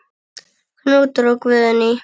Knútur og Guðný.